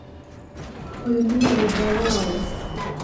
Ũyũ nĩ mũgũnda wa ũũ?